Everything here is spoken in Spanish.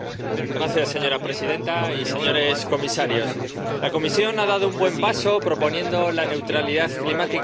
Señora presidenta, señores comisarios, la Comisión ha dado un buen paso proponiendo la neutralidad climática para